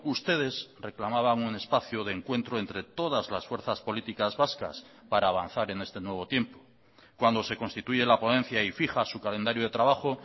ustedes reclamaban un espacio de encuentro entre todas las fuerzas políticas vascas para avanzar en este nuevo tiempo cuando se constituye la ponencia y fija su calendario de trabajo